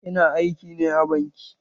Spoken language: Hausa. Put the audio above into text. Ina aiki ne a banki.